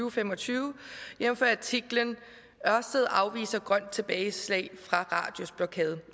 og fem og tyve jævnfør artiklen ørsted afviser grønt tilbageslag fra radius blokade